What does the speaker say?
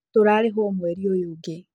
Tũrarĩhwo mweri ũyũ ũngi